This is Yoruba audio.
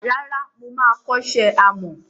Rárá, moma kọ́ṣẹ́ àmọ́.